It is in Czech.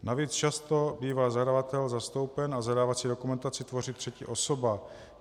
Navíc často bývá zadavatel zastoupen a zadávací dokumentaci tvoří třetí osoba.